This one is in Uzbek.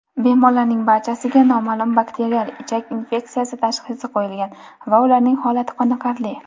bemorlarning barchasiga "noma’lum bakterial ichak infeksiyasi" tashxisi qo‘yilgan va ularning holati qoniqarli.